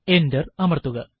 enter അമർത്തുക